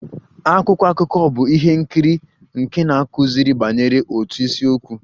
Akwụkwọ akụkọ bụ ihe nkiri nke na-akụziri banyere otu isiokwu.